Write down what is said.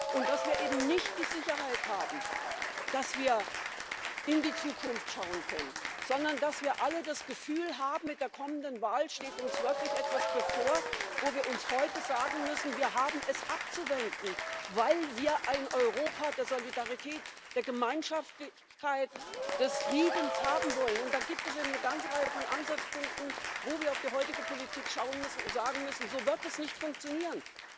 und dass wir eben nicht die Sicherheit haben, dass wir in die Zukunft schauen können, sondern dass wir alle das Gefühl haben, mit der kommenden Wahl steht uns wirklich etwas bevor, wo wir uns heute sagen müssen, wir haben es abzuwenden, weil wir ein Europa der Solidarität, der Gemeinschaftlichkeit, des Friedens haben wollen, dann gibt es eine ganze Reihe von Ansatzpunkten, wo wir auf die heutige Politik schauen müssen und sagen müssen So wird das nicht funktionieren.